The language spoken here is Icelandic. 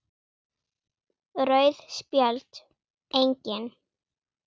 Rauð Spjöld: Engin.